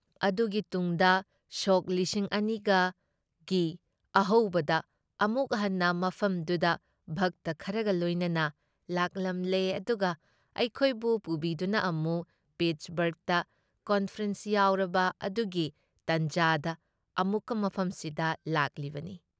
ꯑꯗꯨꯒꯤ ꯇꯨꯨꯡꯗ ꯁꯣꯛ ꯂꯤꯁꯤꯡ ꯑꯅꯤꯒ ꯒꯤ ꯑꯍꯧꯕꯗ ꯑꯃꯨꯛ ꯍꯟꯅ ꯃꯐꯝꯗꯨꯗ ꯚꯛꯇ ꯈꯔꯒ ꯂꯣꯏꯅꯅ ꯂꯥꯛꯂꯝꯂꯦ ꯑꯗꯨꯒ ꯑꯩꯈꯣꯏꯕꯨ ꯄꯨꯕꯤꯗꯨꯅ ꯑꯃꯨꯛ ꯄꯤꯠꯁꯕꯔꯒꯇ ꯀꯟꯐꯔꯦꯟꯁ ꯌꯥꯎꯔꯕ ꯑꯗꯨꯒꯤ ꯇꯥꯟꯖꯥꯗ ꯑꯃꯨꯛꯀ ꯃꯐꯝꯁꯤꯗ ꯂꯥꯛꯂꯤꯕꯅꯤ ꯫